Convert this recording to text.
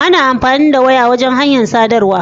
Ana amfani da waya wajan hanyar sadarwa